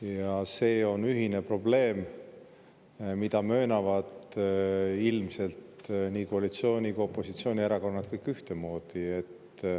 Ja see on ühine probleem, mida möönavad ilmselt nii koalitsiooni‑ kui ka opositsioonierakonnad kõik ühtemoodi.